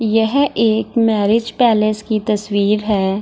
यह एक marriage palace की तस्वीर है।